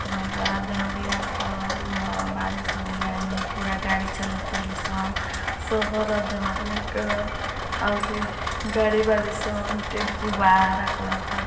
बारिश भइल बा एन्ने पूरा गाडी चलत बाड़ी स शहर ह देवरिया क और गाड़ी बड़ी स टेम्पू बा |